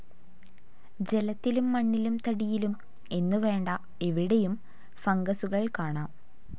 ജലത്തിലും മണ്ണിലും തടിയിലും എന്നുവേണ്ട എവിടെയും ഫംഗസുകൾ കാണാം.